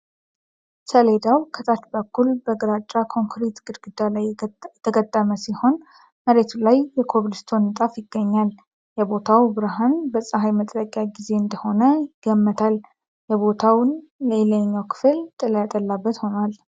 ሰሌዳው ከታች በኩል በግራጫ ኮንክሪት ግድግዳ ላይ የተገጠመ ሲሆን፣ መሬቱ ላይ የኮብልስቶን ንጣፍ ይገኛል። የቦታው ብርሃን በፀሐይ መጥለቂያ ጊዜ እንደሆነ ይገመታል፤ የቦታውን የላይኛው ክፍል ጥላ ያጠላበት ሆኗል።